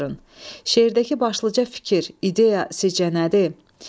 Şeirdəki başlıca fikir, ideya sizcə nədir?